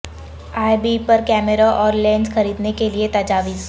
ای بے پر کیمروں اور لینس خریدنے کے لئے تجاویز